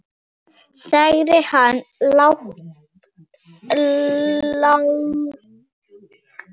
sagði hann lágt.